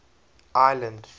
ireland